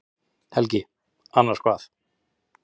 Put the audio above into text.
Helgi: Annars hvað?